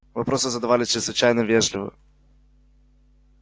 вопросы задавались чрезвычайно вежливо